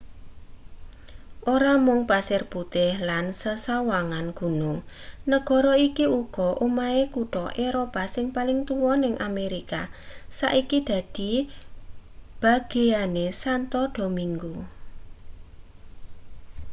ora mung pasir putih lan sesawangan gunung negara iki uga omahe kutha eropa sing paling tuwa ning amerika saiki dadi bageyane santo domingo